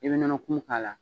I bɛ nɔnɔkumu k'a la